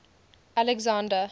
alexander